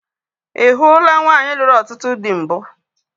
Ị hụula nwaanyị lụrụ ọtụtụ dị mbụ?